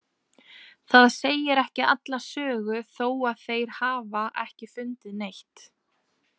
Það segir ekki alla sögu þó að þeir hafa ekki fundið neitt.